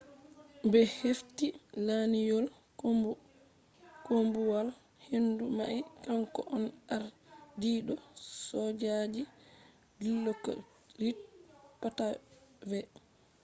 be hefti lanyol koombuwal-hendu mai kanko on ardiido sojaji dilokrit pattavee